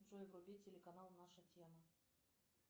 джой вруби телеканал наша тема